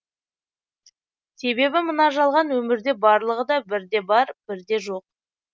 себебі мына жалған өмірде барлығыда бірде бар бірде жоқ